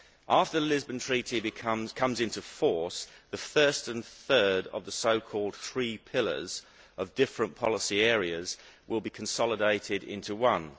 After the Lisbon Treaty comes into force, the first and third of the so called three pillars of different policy areas will be consolidated into one.